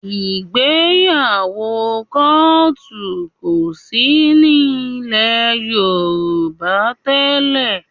Ìgbéyàwó kọ́òtù kò sí ní ilẹ̀ Yorùbá tẹ́lẹ̀